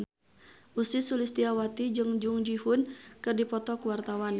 Ussy Sulistyawati jeung Jung Ji Hoon keur dipoto ku wartawan